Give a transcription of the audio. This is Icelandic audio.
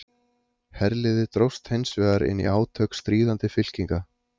Herliðið dróst hins vegar inn í átök stríðandi fylkinga.